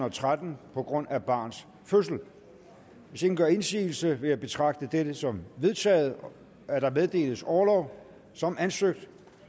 og tretten på grund af barns fødsel hvis ingen gør indsigelse vil jeg betragte det som vedtaget at der meddeles orlov som ansøgt